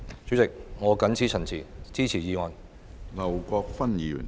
主席，我謹此陳辭，支持議案。